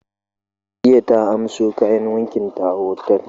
Jiya ta amso kayan wanki ta a otal.